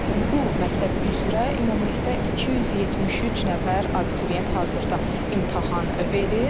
Bu məktəb üzrə ümumilikdə 273 nəfər abituriyent hazırda imtahan verir.